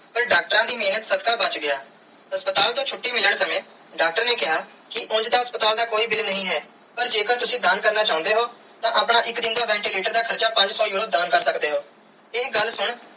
ਪਾਰ ਡਾਕਟਰਾਂ ਦੀ ਮੇਹਰ ਸਦਕਾ ਬਚ ਗਿਆ ਹਸਪਤਾਲ ਤੂੰ ਛੁਟੀ ਮਿਲਣ ਸਮੇ ਡਾਕਟਰ ਨੇ ਕੀਆ ਕਿ ਉਂਜ ਤੇ ਹਸਪਤਾਲ ਦਾ ਕੋਈ bill ਨਾਈ ਹੈ ਪਾਰ ਜੇ ਕਰ ਤੁਸੀਂ ਦਾਨ ਕਰਨਾ ਚਾਨੇ ਓ ਤੇ ਆਪਣਾ ਇਕ ਦਿਨ ਦਾ ventilator ਦਾ ਹਾਰਚਾ ਪੰਜ ਸੋ euro ਦਾਨ ਕਰ ਸਕਦੇ ਓ ਇਹ ਗੱਲ ਸੁਨ.